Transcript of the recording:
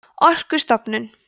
orkustofnun